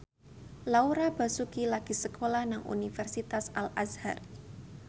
Laura Basuki lagi sekolah nang Universitas Al Azhar